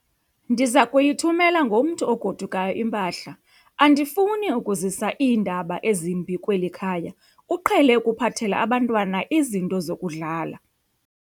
Ndiza kuyithumela ngomntu ogodukayo impahla. andifuni ukuzisa iindaba ezimbi kweli khaya, uqhele ukuphathela abantwana izinto zokudlala